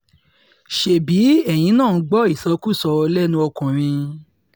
ṣebí eyín náà ń gbọ́ ìsọkúsọ lẹ́nu ọkùnrin